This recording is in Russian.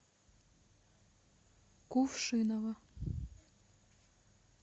кувшиново